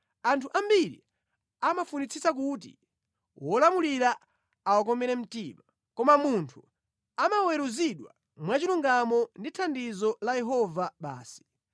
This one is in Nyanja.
Anthu ambiri amafunitsitsa kuti wolamulira awakomere mtima, koma munthu amaweruzidwa mwachilungamo ndi thandizo la Yehova basi.